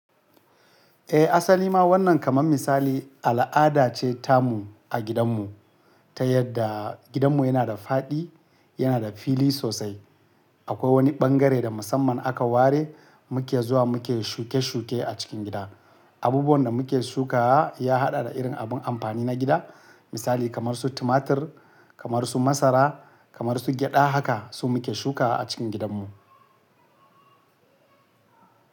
Eh, asali ma wannan kaman misali al'ada ce ta mu a gidan mu. Ta yadda gidan mu yana da faɗi, yana da fili sosai. Akwai wani ɓangare da musamman aka ware muke zuwa muke shuke-shuke a cikin gida. Abubuwan da muke shuka ya haɗa da irin abun amfani na gida, misali kamar su tumatir, kamar su masara, kamar su gyaɗa haka su muke shukawa a cikin gidan mu.